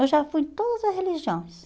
Eu já fui em todas as religiões.